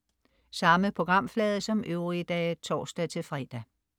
Samme programflade som øvrige dage (tors-fre)